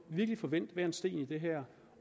virkelig få vendt hver en sten i det her